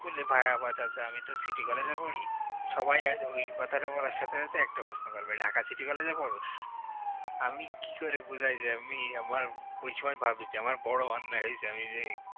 বলে ভাই আমার কাছে আমি city college এ পড়ি সবাই ও~ওই কথাটা বলার সাথে সাথে এই প্রশ্ন করবে ঢাকা city college এ পড়ছ আমি কি করে বুঝাই আমি আমার ওই সময় ভাবি আমি আমার বড় অন্যায় হয়েছে আমি যে